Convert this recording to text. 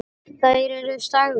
Þær eru sagðar.